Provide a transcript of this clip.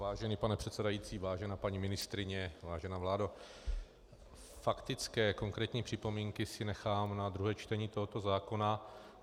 Vážený pane předsedající, vážená paní ministryně, vážená vládo, faktické, konkrétní připomínky si nechám na druhé čtení tohoto zákona.